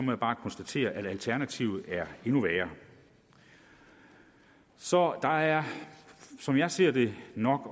jeg bare konstatere at alternativet er endnu værre så der er som jeg ser det nok at